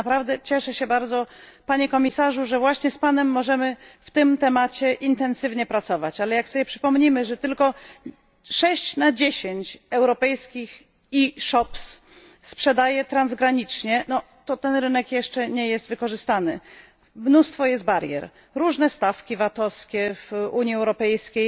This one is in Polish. Naprawdę cieszę się bardzo, Panie Komisarzu, że właśnie z Panem możemy w tym zakresie intensywnie pracować, ale jak sobie przypomnimy, że tylko 6 na 10 europejskich e sklepów prowadzi sprzedaż transgraniczną, to okazuje się, że ten rynek jeszcze nie jest wykorzystany. Mnóstwo jest barier różne stawki VAT u w Unii Europejskiej,